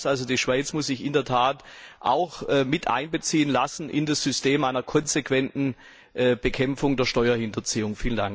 Das heißt also, die Schweiz muss sich in der Tat auch mit einbeziehen lassen in das System einer konsequenten Bekämpfung der Steuerhinterziehung.